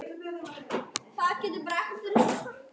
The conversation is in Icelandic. Þóra: Hvernig varð þér við?